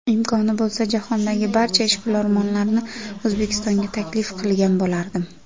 Imkoni bo‘lsa, jahondagi barcha ishbilarmonlarni O‘zbekistonga taklif qilgan bo‘lardim.